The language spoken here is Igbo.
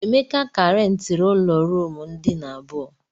Emeka ka rentiri ụlọ ruumu ndina abụọ.